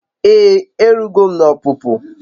Ee erugo m n'opupu